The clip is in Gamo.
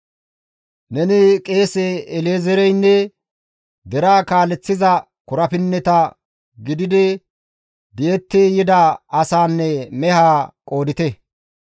«Neni qeese El7ezeereynne deraa kaaleththiza korapinnetara gididi di7etti yida asaanne mehaa qoodite.